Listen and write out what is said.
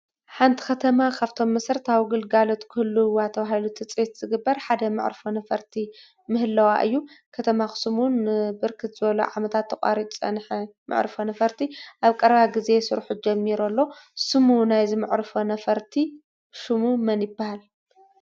ሓንቲ ኸተማ ኻብቶም መሰረታዊ ግልጋሎት ክህልዋ ተባሂሉ ትፅቢት ዝግበር ሓደ መዕርፎ ነፈርቲ ምህለዋ እዩ። ከተማ ኣኽስም እውን ብርክት ዝበሉ ዓመታት ተቛሪፁ ዝጸንሐ መዕርፎ ነፈርቲ ኣብ ቀረባ ጊዜ ስርሑ ጀሚሮ ኣሎ። ሽሙ ናይ እዚ መዕርፎ ነፈርቲ ሹሙ መን ይበሃል?